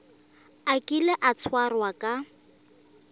a kile a tshwarwa ka